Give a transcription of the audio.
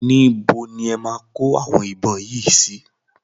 Ibo ni e máa kó àwọn ìbọn yìí sí?